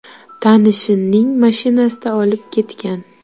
tanishining mashinasida olib ketgan.